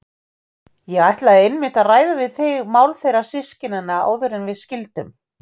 Ég ætlaði einmitt að ræða við þig mál þeirra systkinanna áður en við skildum.